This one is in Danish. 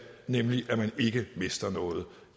nemlig så man ikke mister noget